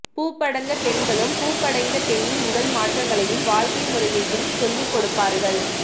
பூப்படந்தப் பெண்களும் பூப்படைந்தப் பெண்ணின் உடல் மாற்றங்களையும் வாழ்க்கை முறையையும் சொல்லிக்கொடுப்பார்கள்